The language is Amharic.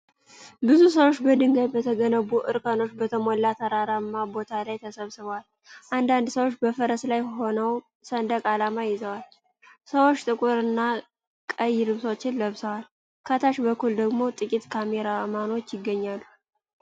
ብዙ ሰዎች በድንጋይ በተገነቡ እርከኖች በተሞላ ተራራማ ቦታ ላይ ተሰብስበዋል። አንዳንድ ሰዎች በፈረስ ላይ ሆነው ሰንደቅ ዓላማ ይዘዋል። ሰዎች ጥቁርና ቀይ ልብሶችን ለብሰዋል፤ ከታች በኩል ደግሞ ጥቂት ካሜራማኖች ይገኛሉ።